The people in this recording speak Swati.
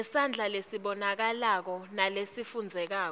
ngesandla lesibonakalako nalesifundzekako